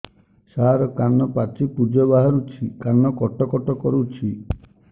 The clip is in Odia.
ସାର କାନ ପାଚି ପୂଜ ବାହାରୁଛି କାନ କଟ କଟ କରୁଛି